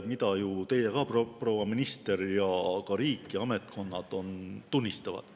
Seda olete ju teie, proua minister, ja on ka riik ja ametkonnad tunnistanud.